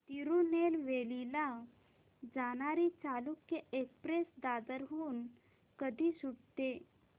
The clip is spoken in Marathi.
तिरूनेलवेली ला जाणारी चालुक्य एक्सप्रेस दादर हून कधी सुटते